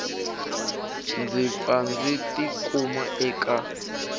ndzi pfa ndzi tikuma eka